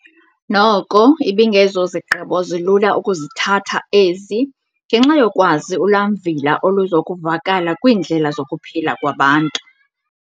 Noko ibingezozigqibo zilula ukuzithatha ezi, ngenxa yokwazi ulwamvila oluzokuvakala kwiindlela zokuphila kwabantu.